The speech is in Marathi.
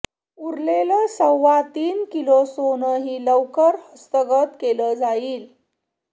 उरलेलं सव्वा तीन किलो सोनंही लवकर हस्तगत केलं जाईल